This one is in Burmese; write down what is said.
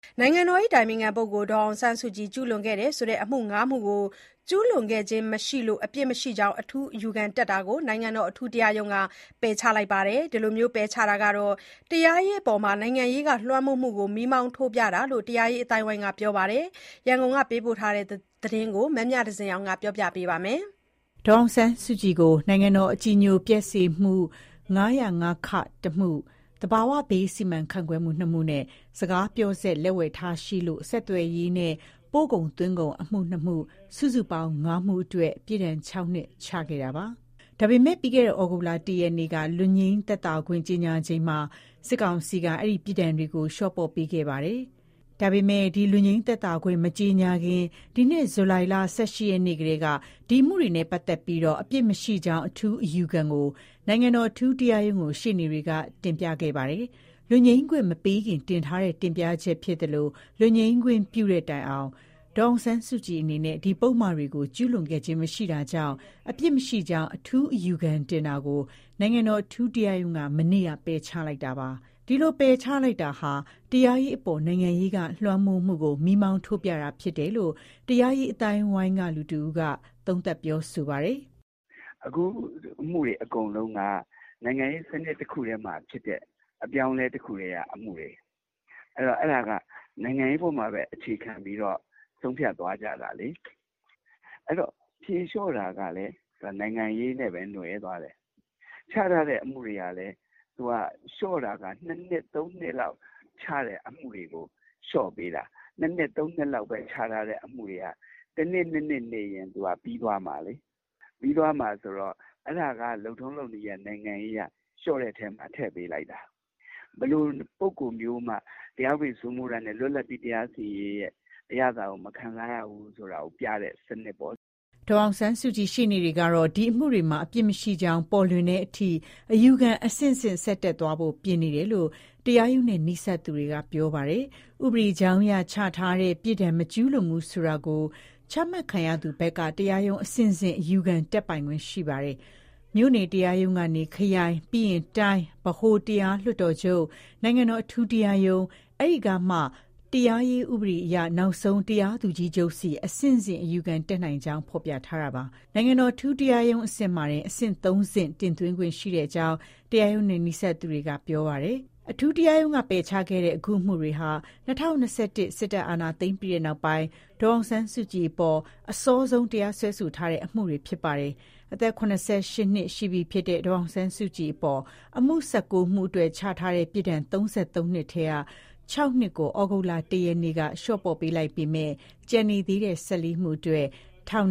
နိုင်ငံတော် အတိုင်ပင်ခံပုဂ္ဂိုလ် ဒေါ်အောင်ဆန်းစုကြည် ကျူးလွန်ခဲ့တယ်ဆိုတဲ့ အမှု ၅ မှုကို ကျူးလွန်ခဲ့ခြင်း မရှိလို့ အပြစ်မရှိကြောင်း အထူးအယူခံ တက်တာကို နိုင်ငံတော် အထူးတရားရုံးက ပယ်ချခဲ့ပါတယ်။ ဒီလို ပယ်ချ တာဟာ တရားရေးအပေါ် နိုင်ငံရေးက လွှမ်းမိုးမှုကို မီးမောင်းထိုးပြတာ ဖြစ်တယ်လို့ တရားရေး အသိုင်းအဝိုင်းက ပြောပါတယ်။ ရန်ကုန်က ပေးပို့တဲ့သတင်းကို မမြသဇင်အောင်က တင်ပြပေးပါမယ်။ ဒေါ်အောင်ဆန်းစုကြည်ကို နိုင်ငံတော် အကြည်ညိုပျက်စေမှု ၅၀၅ ၁ မှု၊ သဘာဝဘေး စီမံခန့်ခွဲမှု ၂ မှုနဲ့ စကားပြောစက် လက်ဝယ်ထားရှိလို့ ဆက်သွယ်ရေးနဲ့ ပို့ကုန်သွင်းကုန်အမှု ၂ ခု၊ စုစုပေါင်း ၅ မှုအတွက် ပြစ်ဒဏ် ၆ နှစ် ချခဲ့တာပါ။ ဒါပေမဲ့ ပြီးခဲ့တဲ့ ဩဂုတ် ၁ ရက်နေ့က လွတ်ငြိမ်း သက်သာခွင့် ကြေညာချိန်မှာ စစ်ကောင်စီက အဲ့ဒီပြစ်ဒဏ်တွေကို လျော့ပေါ့ပေးခဲ့ပါတယ်။ ဒါပေမဲ့ ဒီလွတ်ငြိမ်းသက်သာခွင့် မကြေညာခင် ဒီနှစ် ဇူလိုင်လ ၁၈ ရက်နေ့ကတည်းက ဒီအမှုတွေနဲ့ပတ်သက်ပြီး အပြစ်မရှိကြောင်း အထူးအယူခံကို နိုင်ငံတော် အထူးတရားရုံးကို ရှေ့နေတွေက တင်ပြထားတာပါ။ လွတ်ငြိမ်းခွင့်မပေးခင် တင်ထားတဲ့ တင်ပြချက် ဖြစ်သလို၊ လွတ်ငြိမ်းခွင့် ပြုသည့်တိုင်အောင် ဒေါ်အောင်ဆန်းစုကြည်အနေနဲ့ ဒီပုဒ်မတွေကို ကျူးလွန်ခဲ့ခြင်း မရှိတာကြောင့် အပြစ်မရှိကြောင်း အထူးအယူခံတင်တာကို နိုင်ငံတော်အထူးတရားရုံးက မနေ့က ပယ်ချလိုက်တာပါ။ ဒီလို ပယ်ချလိုက်တာဟာ တရားရေးအပေါ် နိုင်ငံရေးက လွှမ်းမိုးမှုကို မီးမောင်းထိုးပြတာ ဖြစ်တယ်လို့ တရားရေး အသိုင်းအဝိုင်းက သူတဦးက သုံးသပ်ပြောဆိုပါတယ်။ "အခုအမှုတွေ အကုန်လုံးက နိုင်ငံရေးစနစ်တခုမှာဖြစ်တဲ့ အပြောင်းလဲ တခုထဲက အမှုတွေ။ အဲ့တော့ အဲဒါကနိုင်ငံရေးပေါ်ပဲ အခြေခံပြီးတော့ ဆုံးဖြတ် သွားကြတာလေ။ ဖြေလျော့တာကလည်း နိုင်ငံရေးနဲ့ပဲ နွယ်သွားတယ်။ ချထားတဲ့ အမှုတွေကလည်း ၂ နှစ် ၃ နှစ်လောက် ချထားတဲ့ အမှုတွေကို လျော့ပေးတာ။ ၂ နှစ် ၃ နှစ်ချထားတာတွေက တနှစ်၂ နှစ်နေ ပြီးသွားမှာ။ အဲ့ဒါက လုပ်ထုံးလုပ်နည်းအရ နိုင်ငံရေးအရ လျှော့တဲ့အထဲ ထည့်ပေးလိုက်တာ။ ဘယ်လို ပုဂ္ဂိုလ်မျိုးမှ တရားဥပဒေ စိုးမိုးတာနဲ့ လွတ်လပ်ပြီး တရားမျှတတဲ့ အရသာကို မခံစားရဘူးဆိုတာ ပြနေတဲ့ စနစ်ပေါ့။" ဒေါ်အောင်ဆန်းစုကြည် ရှေ့နေတွေကတော့ ဒီအမှုတွေမှာ အပြစ်မရှိကြောင်း ပေါ်လွင်တဲ့အထိ အယူခံ အဆင်ဆင့် ဆက်တက်သွားဖို့ ပြင်နေတယ်လို့ တရားရုံးနဲ့ နီးစပ်သူတွေက ပြောပါတယ်။ ဥပဒေကြောင်းအရ ချမှတ်ထားတဲ့ ပြစ်ဒဏ် မကျူးလွန်ဘူးဆိုတာကို ချမှတ်ခံရသူ ဘက်က တရားရုံး အဆင့်ဆင့် အယူခံတက်ပိုင်ခွင့် ရှိပါတယ်။ မြို့နယ်တရားရုံးကနေ ခရိုင်၊ ပြီးရင် တိုင်း၊ ဗဟိုတရားလွှတ်တော်ချုပ်၊ နိုင်ငံတော် အထူးတရားရုံး အဲ့ကနေမှ တရားရေးဥပဒေအရနောက်ဆုံး တရားသူကြီးချုပ်ဆီ အဆင့်ဆင့် အယူခံတတ်နိုင်ကြောင်း ဖော်ပြထားတာပါ။ နိုင်ငံတော် အထူးတရားရုံး အဆင့်မှာတင် အဆင့် ၃ ဆင့် တင်သွင်းခွင့်ရှိကြောင်း တရားရုံးနဲ့ နီးစပ်သူတွေက ပြောပါတယ်။ အထူးတရားရုံးက ပယ်ချခဲ့တဲ့ အခုအမှုတွေဟာ ၂၀၂၁ စစ်တပ် အာဏာသိမ်းပြီးနောက်ပိုင်း ဒေါ်အောင်ဆန်းစုကြည်အပေါ် အစောဆုံး တရားစွဲဆိုထားတဲ့ အမှုတွေ ဖြစ်ပါတယ်။ အသက် ၇၈ နှစ်ရှိပြီဖြစ်တဲ့ ဒေါ်အောင်ဆန်းစုကြည်အပေါ် အမှု ၁၉ မှုအတွက် ချမှတ်ထားတဲ့ ပြစ်ဒဏ် ၃၃ နှစ်ထဲက ၆ နှစ်ကို သြဂုတ်လ ၁ ရက်နေ့က လျှော့ပေါ့ပေး လိုက်ပေမဲ့ ကျန်နေသေးတဲ့ ၁၄ မှု အတွက် ထောင်